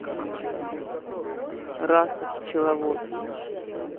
раса пчеловод